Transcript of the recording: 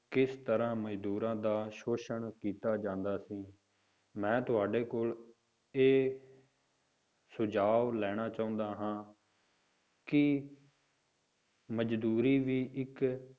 ਕਿਸ ਤਰ੍ਹਾਂ ਮਜ਼ਦੂਰਾਂ ਦਾ ਸ਼ੋਸ਼ਣ ਕੀਤਾ ਜਾਂਦਾ ਸੀ, ਮੈਂ ਤੁਹਾਡੇ ਕੋਲ ਇਹ ਸੁਝਾਵ ਲੈਣਾ ਚਾਹੁੰਦਾ ਹਾਂ ਕਿ ਮਜ਼ਦੂਰੀ ਵੀ ਇੱਕ